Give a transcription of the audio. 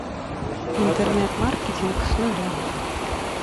интернет маркетинг с нуля